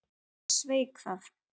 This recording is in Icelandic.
Ég sveik það.